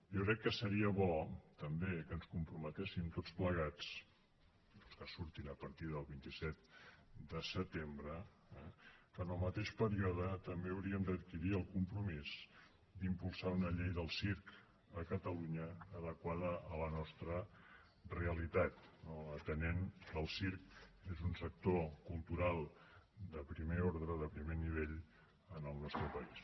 jo crec que seria bo també que ens comprometéssim tots plegats els que surtin a partir del vint set de setembre eh que en el mateix període també hauríem d’adquirir el compromís d’impulsar una llei del circ a catalunya adequada a la nostra realitat no atenent que el circ és un sector cultural de primer ordre de primer nivell en el nostre país